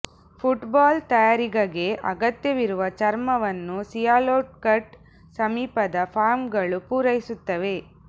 foot ball ತಯಾರಿಗಗೆ ಅಗತ್ಯವಿರುವ ಚರ್ಮ ವನ್ನು ಸಿಯಾಲ್ಕೋಟ್ ಸಮೀಪದ ಫಾರ್ಮ್ಗಳು ಪೂರೈಸುತ್ತವೆ